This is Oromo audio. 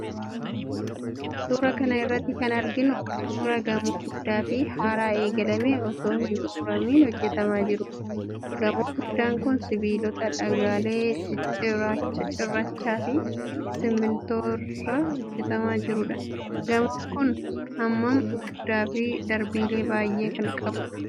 Suura kana irratti kan arginu kun, suura gamoo guddaa fi haaraa eegalamee osoo hin xumuramin hojjatamaa jiruuti. Gamoon guddaan kun, sibiilota, dhagaalee, cirracha fi simiintoo irraa hojjatamaa jiruudha. Gamoon kun, hammaan guddaa fi darbiilee baay'ee kan qabuudha.